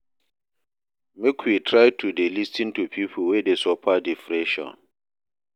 Make we try to dey lis ten to pipo wey dey suffer depression.